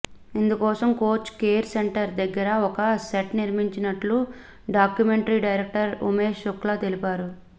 ఇందుకోసం coach care centre దగ్గర ఒక సెట్ నిర్మించినట్టు డాక్యుమెంటరీ డైరెక్టర్ ఉమేష్ శుక్లా తెలిపారు